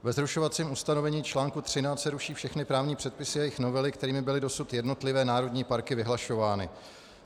Ve zrušovacím ustanovení článku 13 se ruší všechny právní předpisy a jejich novely, kterými byly dosud jednotlivé národní parky vyhlašovány.